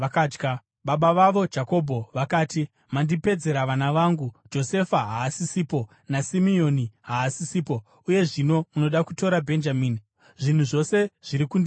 Baba vavo Jakobho vakati, “Mandipedzera vana vangu. Josefa haasisipo naSimeoni haasisipo, uye zvino munoda kutora Bhenjamini. Zvinhu zvose zviri kundimukira!”